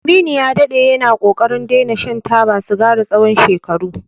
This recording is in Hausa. Aminu ya daɗe yana ƙoƙarin daina shan taba sigari tsawon shekaru.